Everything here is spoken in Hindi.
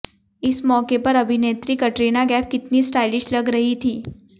इस मौके पर अभिनेत्री कटरीना कैफ़ कितनी स्टाइलिश लग रही थीं